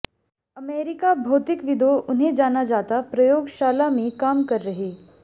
America भौतिकविदों उन्हें जाना जाता प्रयोगशाला में काम कर रहे